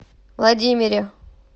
владимире